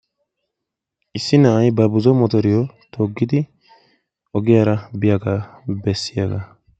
Issi na'ay ba buzo motoriyo toggidi ogiyaara biyaagaa bessiyaagaa.